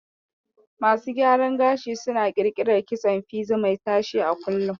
Masu gyaran gashi suna ƙirƙirar kitson fizi mai tashe a kullum